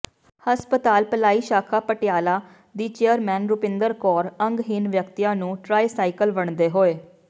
ਹਸਪਤਾਲ ਭਲਾਈ ਸ਼ਾਖਾ ਪਟਿਆਲਾ ਦੀ ਚੇਅਰਪਰਸਨ ਰੁਪਿੰਦਰ ਕੌਰ ਅੰਗਹੀਣ ਵਿਅਕਤੀਆਂ ਨੂੰ ਟਰਾਈਸਾਈਕਲ ਵੰਡਦੇ ਹੋਏ